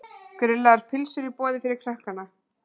Grillaðar pylsur í boði fyrir krakkana.